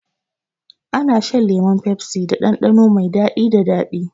An san lemon pepsi da ɗanɗano mai daɗi da daɗi.